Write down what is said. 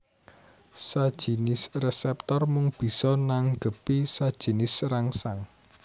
Sajinis reseptor mung bisa nanggepi sajinis rangsang